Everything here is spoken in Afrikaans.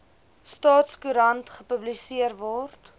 staatskoerant gepubliseer word